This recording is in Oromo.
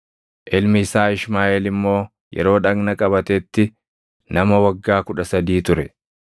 Ilmi isaa Ishmaaʼeel immoo yeroo dhagna qabatetti nama waggaa kudha sadii ture.